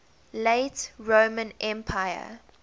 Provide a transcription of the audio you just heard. late roman empire